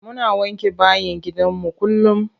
Muna wanke bayin gidanmu kullum.